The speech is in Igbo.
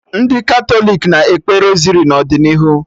Ndị Katọlik ga na-ekpe Rosari n'ọdịnihu